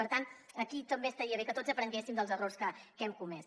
per tant aquí també estaria bé que tots aprenguessin dels errors que hem comès